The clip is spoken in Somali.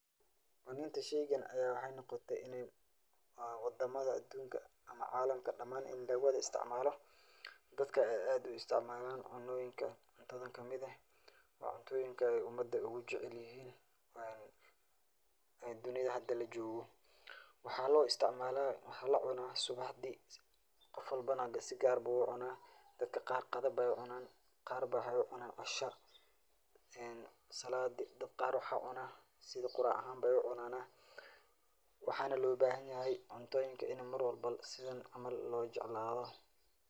Cunidq sheygan aya waxay noqotole ini wadama adunka ama calamka dhmaan ini laga wada isticmaalo dadka ay aad u isticmaalan cunooyinka cuntadan kamid eh, waa cuntoyinka ay umada ogu jecel yihin waye dunida hada lajogoo, waxa loo isticmaala waxa lacuna subaxdii, qof walbo na si gaar bu ucunaa, dadka qaar qada Bay ucunan, qaar ba waxay ucunan casha en salaadi dad qaar sidii qurac ahan bay ucunana, waxana loo bahan yahay cubtoyinka ini Mar walbo sidan loo jeclaado